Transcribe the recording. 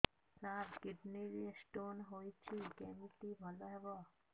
ସାର kidney ରେ stone ହେଇଛି କମିତି ଭଲ ହେବ